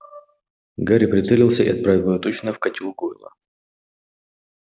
гарри прицелился и отправил её точно в котёл гойла